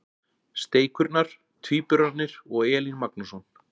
Steikurnar- Tvíburarnir og Elín Magnússon.